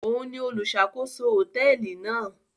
Òún ní oluṣakoso hotẹẹli náà